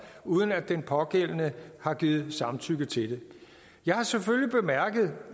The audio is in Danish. uden at den pågældende har givet samtykke til det jeg har selvfølgelig bemærket